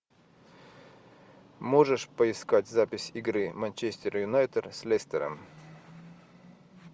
можешь поискать запись игры манчестер юнайтед с лестером